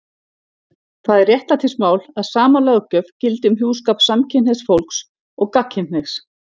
Það er réttlætismál að sama löggjöf gildi um hjúskap samkynhneigðs fólks og gagnkynhneigðs.